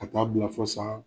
U tun ba bila fɔ san